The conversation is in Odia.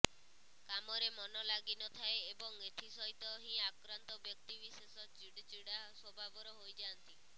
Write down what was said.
କାମରେ ମନ ଲାଗିନଥାଏ ଏବଂ ଏଥିସହିତ ହିଁ ଆକ୍ରାନ୍ତ ବ୍ୟକ୍ତିବିଶେଷ ଚିଡଚିଡା ସ୍ୱଭାବର ହୋଇଯାନ୍ତି